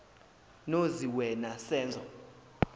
nozi wena senzo